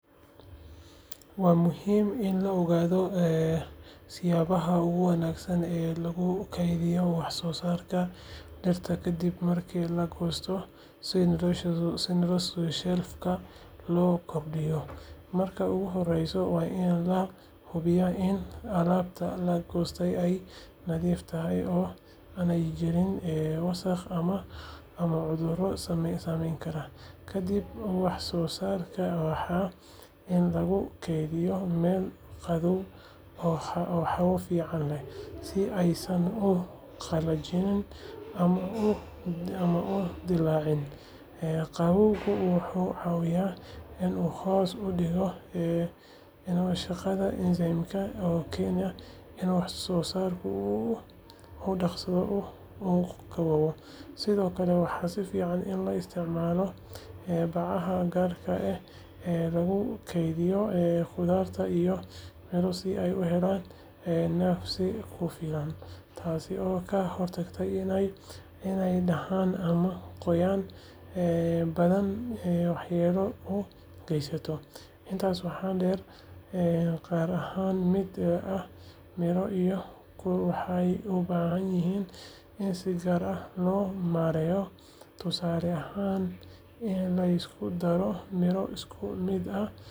Waa muhiim in la ogaado siyaabaha ugu wanaagsan ee lagu kaydiyo wax soo saarka dhirta ka dib marka la goosto si noloshooda shelf-ka loo kordhiyo. Marka ugu horeysa, waa in la hubiyaa in alaabta la goostay ay nadiif tahay oo aanay jirin wasakh ama cudurro saameyn kara. Kadib, wax soo saarka waa in lagu keydiyaa meel qabow oo hawo fiican leh, si aysan u qallajin ama u dillaacin. Qabowgu wuxuu caawiyaa in uu hoos u dhigo shaqada enzymes-ka oo keena in wax soo saarku si dhakhso ah u gaboobo. Sidoo kale, waxaa fiican in la isticmaalo bacaha gaarka ah ee lagu kaydiyo khudaarta iyo miro si ay u helaan neefsi ku filan, taas oo ka hortagta inay dhaxan ama qoyaan badani waxyeello u geystaan. Intaas waxaa dheer, qaar ka mid ah miro iyo khudaar waxay u baahan yihiin in si gaar ah loo maareeyo, tusaale ahaan in la isku darto miro isku mid ah si looga hortago in midka xumaado uu ku faafo kuwa kale. Ugu dambayn, si joogto ah ayaa loo fiirinayaa wax soo saarka si loo hubiyo xaaladdiisa, haddii la arko wax dhibaato ah waa in la saaro si aysan u faafin. Hababkaasi waxay si weyn uga caawinayaan in la kordhiyo nolosha shelf-ka ee wax soo saarka dhirta isla markaana la yareeyo khasaaraha.